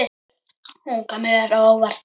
Hún kom mér á óvart.